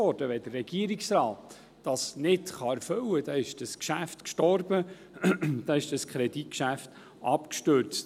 Wenn der Regierungsrat das nicht erfüllen kann, ist dieses Geschäft gestorben, dann ist dieses Kreditgeschäft abgestürzt.